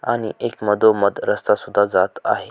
आणि एक मधोमध रास्ता सुद्धा जात आहे.